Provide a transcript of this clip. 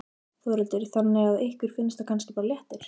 Þórhildur: Þannig að ykkur finnst það kannski bara léttir?